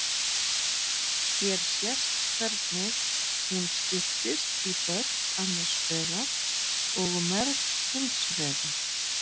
hér sést hvernig hún skiptist í börk annars vegar og merg hins vegar